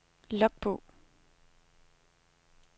logbog